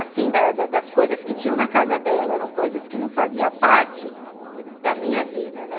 Assim, das das coisas que tinham na casa dela, eram coisas que não faziam parte da minha vida, né?